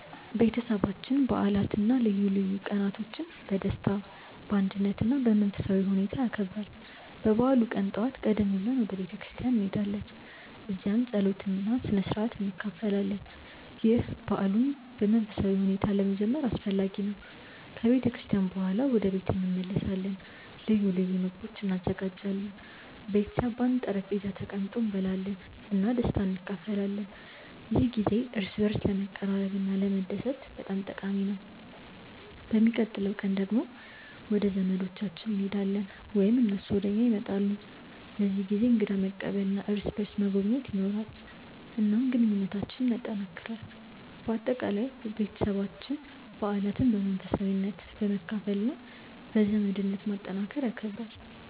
ቤተሰባችን በዓላትን እና ልዩ ቀኖችን በደስታ፣ በአንድነት እና በመንፈሳዊ ሁኔታ ያከብራል። በበዓሉ ቀን ጠዋት ቀደም ብለን ወደ ቤተ ክርስቲያን እንሄዳለን፣ እዚያም ጸሎት እና ስነ-ሥርዓት እንካፈላለን። ይህ በዓሉን በመንፈሳዊ ሁኔታ ለመጀመር አስፈላጊ ነው። ከቤተ ክርስቲያን በኋላ ወደ ቤት እንመለሳለን እና ልዩ ልዩ ምግቦች እንዘጋጃለን። ቤተሰብ በአንድ ጠረጴዛ ተቀምጦ እንበላለን እና ደስታን እንካፈላለን። ይህ ጊዜ እርስ በርስ ለመቀራረብ እና ለመደሰት በጣም ጠቃሚ ነው። በሚቀጥለው ቀን ደግሞ ወደ ዘመዶቻችን እንሄዳለን ወይም እነሱ ወደ እኛ ይመጣሉ። በዚህ ጊዜ እንግዳ መቀበል እና እርስ በርስ መጎብኘት ይኖራል፣ እናም ግንኙነታችንን ያጠናክራል። በአጠቃላይ፣ ቤተሰባችን በዓላትን በመንፈሳዊነት፣ በመካፈል እና በዘመድነት ማጠናከር ይከብራል።